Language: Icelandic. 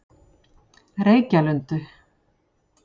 Reykjalundi